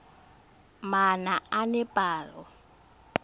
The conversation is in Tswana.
manaanepalo